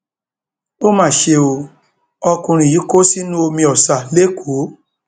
ó mà ṣe ó ọkùnrin yìí kó sínú omi ọsà lẹkọọ